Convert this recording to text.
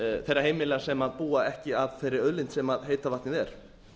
þeirra heimila sem búa ekki að þeirri auðlind sem heita vatnið er